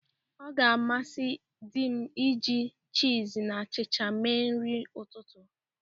Ọ ga-amasi dị m iji chịz na achịcha mee nri ụtụtụ.